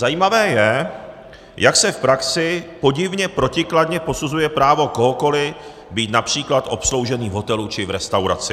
Zajímavé je, jak se v praxi podivně protikladně posuzuje právo kohokoli být například obsloužený v hotelu či v restauraci.